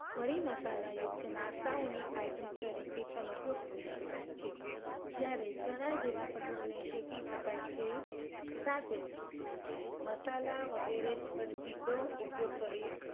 મરી મસાલા યુક્ત નાસ્તાઓની item તરીકે ઉપયોગ કરી શકાય છે. જ્યારે ચણા જેવા કઠોળને શેકી શકાય છે. સાથે મસાલા વગેરે પણ સીધો ઉપયોગ કરી